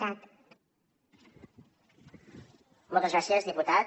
moltes gràcies diputat